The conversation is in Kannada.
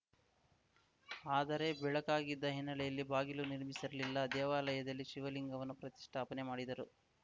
ಆದರೆ ಬೆಳಕಾಗಿದ್ದ ಹಿನ್ನೆಲೆಯಲ್ಲಿ ಬಾಗಿಲು ನಿರ್ಮಿಸಿರಲಿಲ್ಲ ದೇವಾಲಯದಲ್ಲಿ ಶಿವಲಿಂಗವನ್ನು ಪ್ರತಿಷ್ಠಾಪನೆ ಮಾಡಿದರು